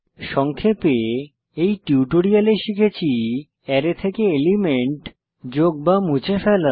সংক্ষেপে এই টিউটোরিয়ালে শিখেছি অ্যারে থেকে এলিমেন্ট যোগ মুছে ফেলা